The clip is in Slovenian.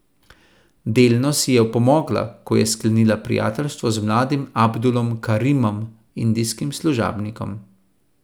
Delno si je opomogla, ko je sklenila prijateljstvo z mladim Abdulom Karimom, indijskim služabnikom.